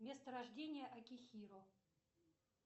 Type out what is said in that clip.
место рождения акихиро